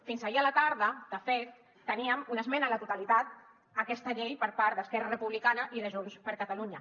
fins ahir a la tarda de fet teníem una esmena a la totalitat a aquesta llei per part d’esquerra republicana i de junts per catalunya